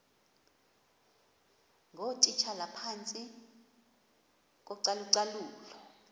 ngootitshala phantsi kocalucalulo